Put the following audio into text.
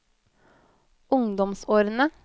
ungdomsårene